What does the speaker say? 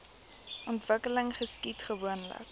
ontwikkeling geskied gewoonlik